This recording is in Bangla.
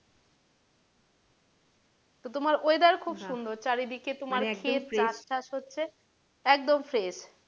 তোমার weather খুব সুন্দর চারিদিকে তোমার হচ্ছে একদম fresh